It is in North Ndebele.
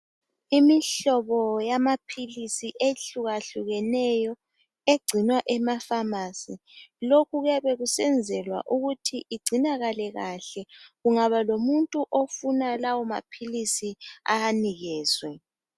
Imihlobo yamaphilisi ehlukahlukeneyo egcinwa ema pharmacy, lokhu kuyabe kusenzelwa ukuthi igcinakale kahle kungaba lomuntu owafunayo awanikezwe.